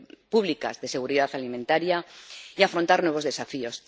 pública de seguridad alimentaria y afrontar nuevos desafíos.